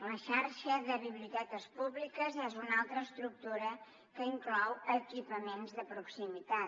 la xarxa de biblioteques públiques és una altra estructura que inclou equipaments de proximitat